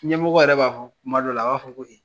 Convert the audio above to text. Ɲɛmɔgɔ yɛrɛ b'a fɔ kuma dɔ la, a b'a fɔ ko e